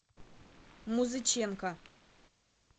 музыченко